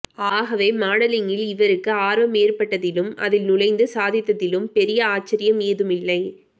ஆகவே மாடலிங்கில் இவருக்கு ஆர்வம் ஏற்பட்டதிலும் அதில் நுழைந்து சாதித்ததிலும் பெரிய ஆச்சரியம் ஏதுமில்லை